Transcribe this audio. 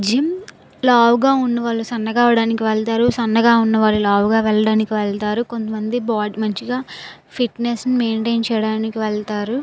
Gym లావు గ వున్నా వాలకి సన్నగా అవడానికి వాడుతారు. సన్నగా వున్నా వాలకి లావు క్వడానికి వాడుతారు. కొంత మంది ఫిట్నెస్ ని మైంటైన్ చేయడానికి వెళ్లుతారు.